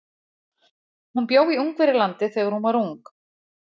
Hún bjó í Ungverjalandi þegar hún var ung.